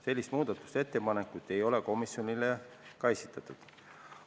Sellist muudatusettepanekut ei ole komisjonile esitatud.